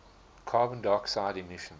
carbon dioxide emissions